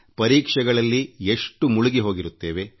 ಪರೀಕ್ಷೆಗಳಲ್ಲಿ ಎಷ್ಟು ಮುಳುಗಿಹೋಗಿರುತ್ತೇವೆ